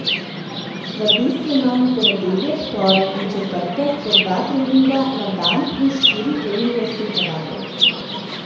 V bistvu imam v ponedeljek, torek in četrtek po dva treninga na dan plus štiri treninge suhe vadbe.